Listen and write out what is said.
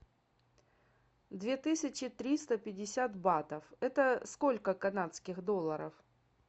две тысячи триста пятьдесят батов это сколько канадских долларов